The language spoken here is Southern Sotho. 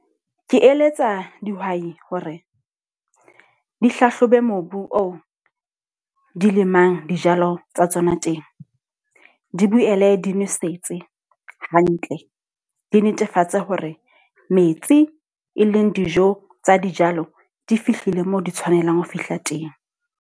Ke eletsa dihwai hore di hlahlobe mobu oo di lemang dijalo tsa tsona teng. Di boele di nosetse hantle. Di netefatse hore metsi, e leng dijo tsa dijalo, di fihlile moo di tshwanelang ho fihla teng.